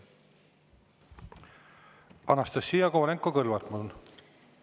Anastassia Kovalenko-Kõlvart, palun!